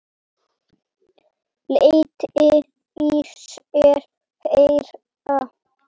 Lét í sér heyra.